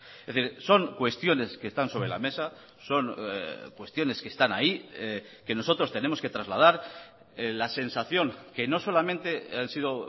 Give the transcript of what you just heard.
es decir son cuestiones que están sobre la mesa son cuestiones que están ahí que nosotros tenemos que trasladar la sensación que no solamente han sido